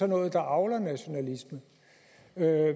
noget der avler nationalisme